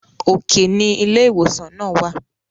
òkè ní ilé ìwòsàn náà wà